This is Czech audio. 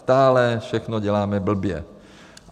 Stále všechno děláme blbě.